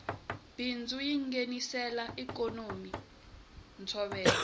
bindzu yingenisela ikonomi ntsovelo